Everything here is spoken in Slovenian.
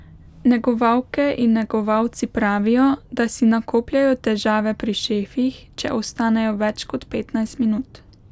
Negovalke in negovalci pravijo, da si nakopljejo težave pri šefih, če ostanejo več kot petnajst minut.